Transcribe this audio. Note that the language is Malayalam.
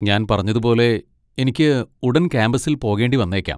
ഞാൻ പറഞ്ഞതുപോലെ, എനിക്ക് ഉടൻ ക്യാമ്പസിൽ പോകേണ്ടി വന്നേക്കാം.